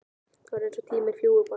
Það er eins og tíminn fljúgi bara!